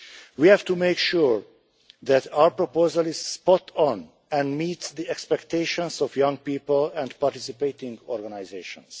We have to make sure that our proposal is spot on and meets the expectations of young people and participating organisations.